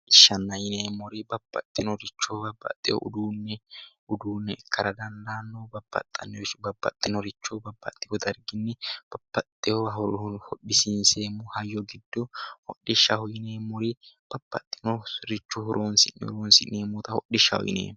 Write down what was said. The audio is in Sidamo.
Hodhishsha yineemmori babbaxxeyo uduunne ikkara dandaanno babbaxxinoricho babbaxxino darginni babbaxxeyowa hodhisiinseemmo hayyo giddo hodhishshaho yineemmori babbaxxinoricho horonsi'neemmota hodhishshaho yineemmo